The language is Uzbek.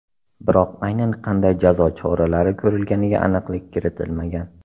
Biroq aynan qanday jazo choralari ko‘rilganiga aniqlik kiritilmagan.